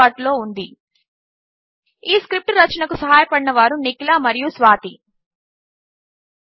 వద్ద అందుబాటులో ఉంది ఈ స్క్రిప్ట్ రచనకు సహాయపడినవారు నిఖిల మరియు స్వాతి చేరినందుకు ధన్యవాదములు